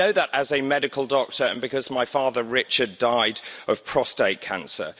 I know that as a medical doctor and because my father, Richard, died of prostate cancer.